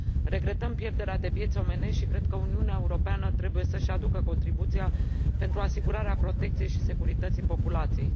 Regretăm pierderea de vieți omenești și cred că Uniunea Europeană trebuie să își aducă contribuția pentru asigurarea protecției și securității populației.